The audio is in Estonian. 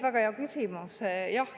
Väga hea küsimus.